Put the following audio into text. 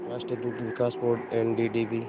राष्ट्रीय दुग्ध विकास बोर्ड एनडीडीबी